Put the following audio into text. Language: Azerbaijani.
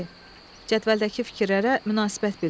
Cədvəldəki fikirlərə münasibət bildirin.